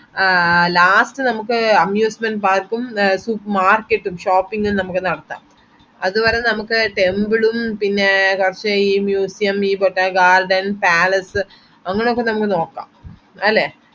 ആഹ് ആ last നമക് amusement park ഉം അ market shopping ഉം നമക് നടത്താം അതുവരെ നമക് temple ഉം പിന്നേ കൊറച് museum ഈ ബോട്ട gardens palace അങ്ങനൊക്കെ നമക് അല്ലെ